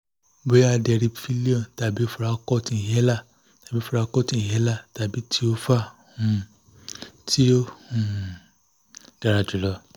bóyá deriphyllion tàbí foracort inhaler tàbí foracort inhaler tàbí tiova um tí ó um dára jù lọ?